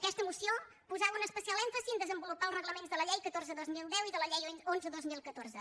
aquesta moció posava un especial èmfasi a desenvolupar els reglaments de la llei catorze dos mil deu i de la llei onze dos mil catorze